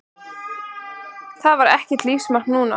Það var ekkert lífsmark núna.